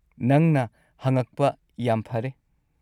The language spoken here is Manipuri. ꯅꯪꯅ ꯍꯪꯉꯛꯄ ꯌꯥꯝ ꯐꯔꯦ꯫